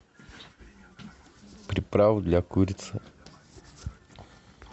приправу для курицы